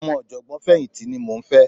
Ọmọ ọ̀jọ̀gbọ́n fẹ̀yìntì ni mò ń fẹ́